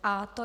Je to